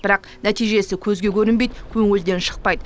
бірақ нәтижесі көзге көрінбейді көңілден шықпайды